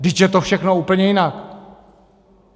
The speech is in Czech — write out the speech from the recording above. Vždyť je to všechno úplně jinak.